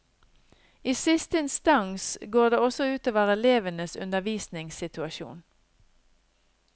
I siste instans går det også utover elevenes undervisningssituasjon.